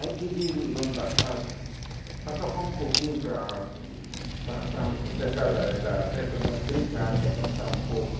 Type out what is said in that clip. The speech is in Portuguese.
Aí pediram o dono da casa para tocar um pouquinho, para para para para pessoal da da festa, brincar né, dançar um pouco.